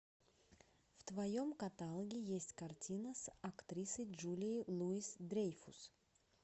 в твоем каталоге есть картина с актрисой джулией луис дрейфус